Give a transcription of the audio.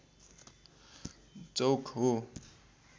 चौक हो